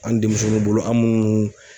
An' demisɛnnunw bolo an' muun